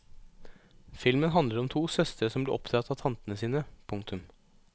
Filmen handler om to søstre som blir oppdratt av tantene sine. punktum